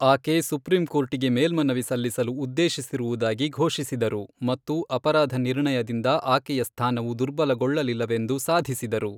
ಆಕೆ ಸುಪ್ರೀಂ ಕೋರ್ಟಿಗೆ ಮೇಲ್ಮನವಿ ಸಲ್ಲಿಸಲು ಉದ್ದೇಶಿಸಿರುವುದಾಗಿ ಘೋಷಿಸಿದರು ಮತ್ತು ಅಪರಾಧ ನಿರ್ಣಯದಿಂದ ಆಕೆಯ ಸ್ಥಾನವು ದುರ್ಬಲಗೊಳ್ಳಲಿಲ್ಲವೆಂದು ಸಾಧಿಸಿದರು.